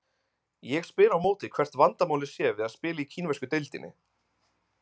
Ég spyr á móti hvert vandamálið sé við að spila í kínversku deildinni?